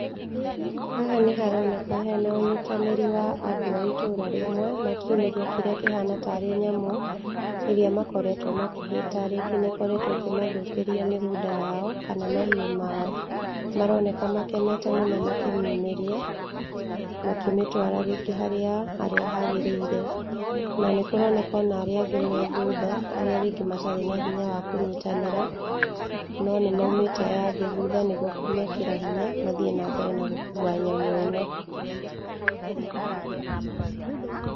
Haha nĩ haroneka harĩ na ũnyitanĩri wa andũ a itũra rĩmwe, makĩumĩria kĩrĩa kĩhana tarĩ nyamũ, ĩrĩa makoretwo makĩhĩta, rĩngĩ nĩ ĩkoretwo ĩkĩmathũkĩria mĩgũnda yao , kana mahiũ mao, maroneka makenete mũno makĩmiumĩria, makĩmĩtwara rĩngĩ harĩa hagĩrĩire, na nĩ kũroneka ona arĩa angĩ me thutha arĩa rĩngĩ matarĩ na hinya wa kũnyitanĩra, no nĩ maumĩte aya angĩ thutha, nĩguo kũmekĩra hinya mathiĩ na mbere na gũkua nyamũ ĩno.